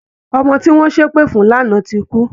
Ọmọ tí wọ́n ṣépè fún lánàá ti kú